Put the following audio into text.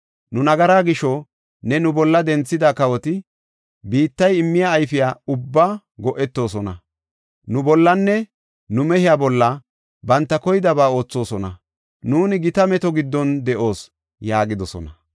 Nu nagaraa gisho, ne nu bolla denthida kawoti biittay immiya ayfiya ubbaa go77etoosona. Nu bollanne nu mehiya bolla banta koydaba oothosona; nuuni gita meto giddon de7oos” yaagidosona.